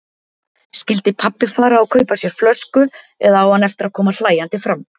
Skyldi pabbi fara og kaupa sér flösku eða á hann eftir að koma hlæjandi fram?